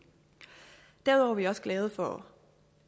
derudover er vi også glade for